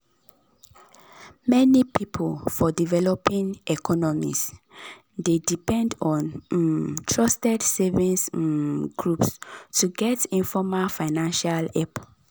many people for developing economies dey depend on um trusted savings um groups to get informal financial help